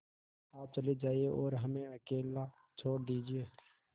आप चले जाइए और हमें अकेला छोड़ दीजिए